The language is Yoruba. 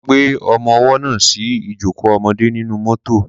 Wọ́n gbé ọmọwọ́ náà sí ìjókò ọmọdé nínú mọ́tọ̀.